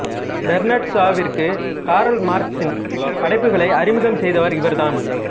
Bernard ஷாவிற்கு Karl மார்க்ஸின் படைப்புகளை அறிமுகம் செய்தவர் இவர் தான்